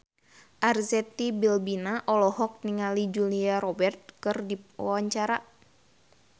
Arzetti Bilbina olohok ningali Julia Robert keur diwawancara